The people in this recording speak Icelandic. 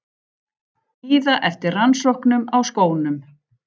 Bíða eftir rannsóknum á skónum